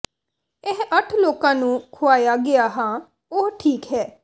ਇਹ ਅੱਠ ਲੋਕਾਂ ਨੂੰ ਖੁਆਇਆ ਗਿਆ ਹਾਂ ਓਹ ਠੀਕ ਹੈ